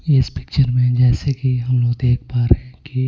इस पिक्चर में जैसे कि हम लोग देख पा रहे हैं की --